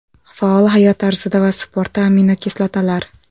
Faol hayot tarzida va sportda aminokislotalar.